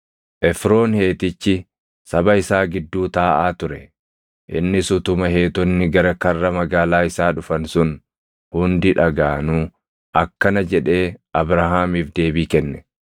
Efroon Heetichi saba isaa gidduu taaʼaa ture; innis utuma Heetonni gara karra magaalaa isaa dhufan sun hundi dhagaʼanuu akkana jedhee Abrahaamiif deebii kenne;